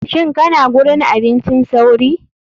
Shin kana gurin abincin sauri.